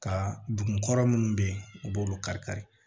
Ka dugu kɔrɔ minnu bɛ yen u b'olu kari kari